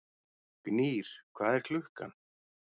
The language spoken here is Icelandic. Gnýr, hvað er klukkan?